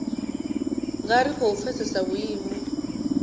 nga ri khou pfesesa vhuimo